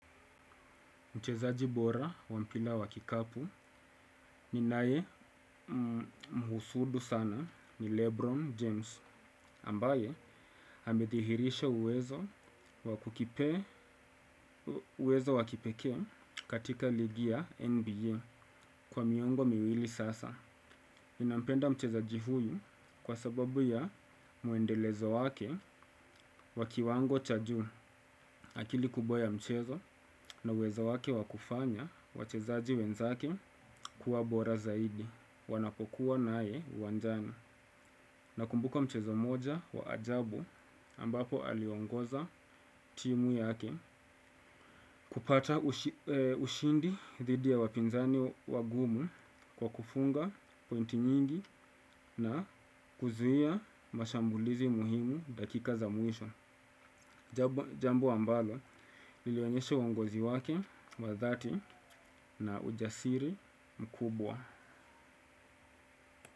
Mchezaji bora wampira wakikapu ni nae mhusudu sana ni Lebron James ambaye amedhihirisha uwezo uwezo wakipekee katika ligi ya NBA kwa miongo miwili sasa. Ninampenda mchezaji huyu kwa sababu ya muendelezo wake wa kiwango cha juu akili kubwa ya mchezo na uwezo wake wakufanya wachezaji wenzake kuwa bora zaidi. Wanapokuwa naye uwanjani na kumbuka mchezo mmoja wa ajabu ambapo aliongoza timu yake. Kupata ushindi didhi wapinzani wagumu kwa kufunga pointi nyingi na kuzuia mashambulizi muhimu dakika za mwisho. Jambo ambalo, lilionyeshe uongozi wake, wadhati na ujasiri mkubwa.